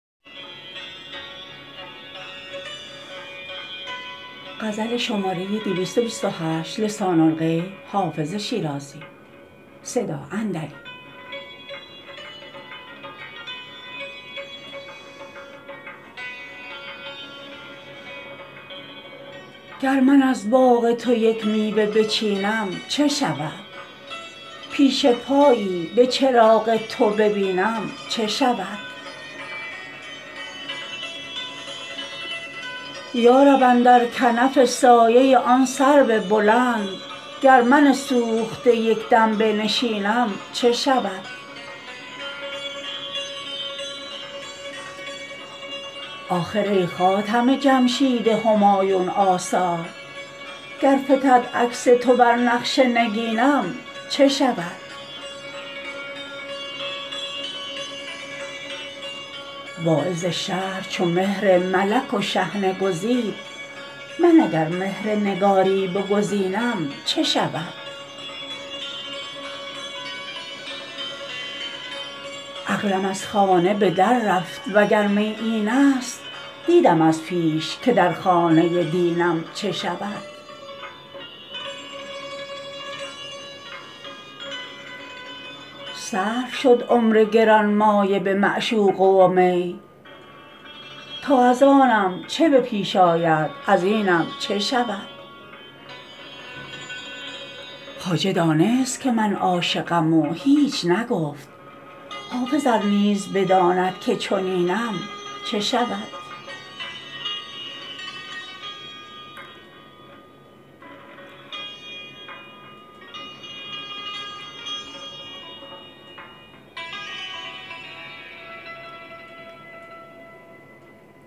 گر من از باغ تو یک میوه بچینم چه شود پیش پایی به چراغ تو ببینم چه شود یا رب اندر کنف سایه آن سرو بلند گر من سوخته یک دم بنشینم چه شود آخر ای خاتم جمشید همایون آثار گر فتد عکس تو بر نقش نگینم چه شود واعظ شهر چو مهر ملک و شحنه گزید من اگر مهر نگاری بگزینم چه شود عقلم از خانه به در رفت وگر می این است دیدم از پیش که در خانه دینم چه شود صرف شد عمر گرانمایه به معشوقه و می تا از آنم چه به پیش آید از اینم چه شود خواجه دانست که من عاشقم و هیچ نگفت حافظ ار نیز بداند که چنینم چه شود